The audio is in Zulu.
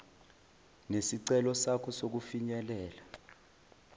nesicelo sakho sokufinyelela